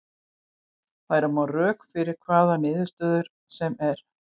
Færa má rök fyrir hvaða niðurstöðu sem er.